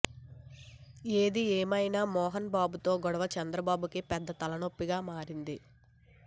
ఏది ఏమైనా మోహన్ బాబుతో గొడవ చంద్రబాబుకి పెద్ద తలనొప్పిగా మారింది